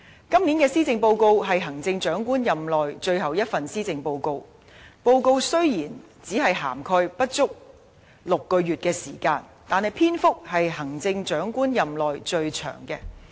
今年的施政報告是行政長官任內最後一份施政報告，雖然現屆政府的任期只餘下不足6個月的時間，但篇幅卻是行政長官任內最長的。